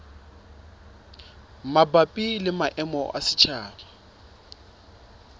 mabapi le maemo a setjhaba